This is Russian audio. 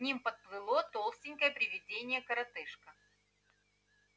к ним подплыло толстенькое привидение-коротышка